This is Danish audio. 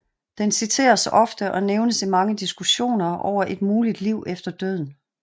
Den citeres ofte og nævnes i mange diskussioner over et muligt liv efter døden